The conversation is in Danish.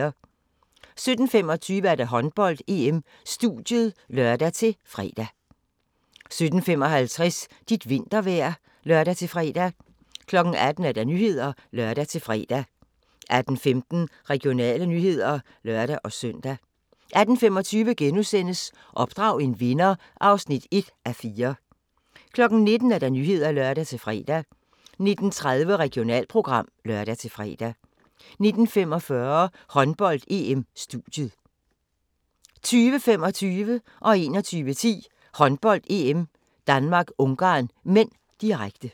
17:25: Håndbold: EM - studiet (lør-fre) 17:55: Dit vintervejr (lør-fre) 18:00: Nyhederne (lør-fre) 18:15: Regionale nyheder (lør-søn) 18:25: Opdrag en vinder (1:4)* 19:00: Nyhederne (lør-fre) 19:30: Regionalprogram (lør-fre) 19:45: Håndbold: EM - studiet 20:25: Håndbold: EM - Danmark-Ungarn (m), direkte 21:10: Håndbold: EM - Danmark-Ungarn (m), direkte